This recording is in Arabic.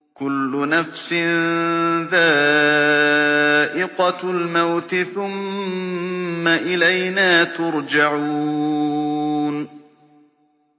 كُلُّ نَفْسٍ ذَائِقَةُ الْمَوْتِ ۖ ثُمَّ إِلَيْنَا تُرْجَعُونَ